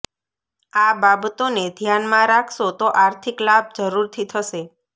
આ બાબતોને ધ્યાનમાં રાખશો તો આર્થિક લાભ જરૂરથી થશે